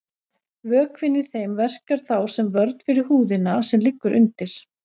Vökvinn í þeim verkar þá sem vörn fyrir húðina sem liggur undir.